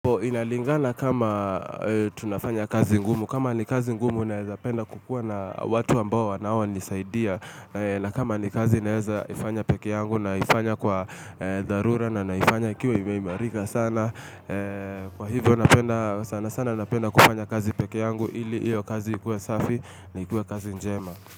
Inalingana kama tunafanya kazi ngumu, kama ni kazi ngumu naeza penda kukua na watu ambao wanaonisaidia na kama ni kazi naeza ifanya peke yangu naifanya kwa dharura na naifanya ikiwa imeimarika sana kwa hivyo napenda sana sana napenda kufanya kazi peke yangu ili hiyo kazi ikuwe safi na ikuwe kazi njema.